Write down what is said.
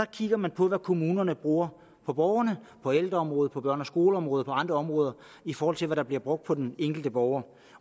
kigger man på hvad kommunerne bruger på borgerne på ældreområdet på børne og skoleområdet og på andre områder i forhold til hvad der bliver brugt på den enkelte borger